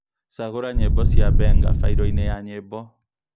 cagūra nyīmbo cia Benga failo inī ya nyīmbo